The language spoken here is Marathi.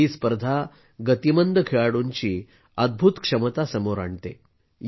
ही स्पर्धा गतिमंद खेळाडूंची अद्भुत क्षमता समोर आणते